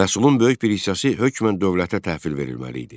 Məhsulun böyük bir hissəsi hökmən dövlətə təhvil verilməli idi.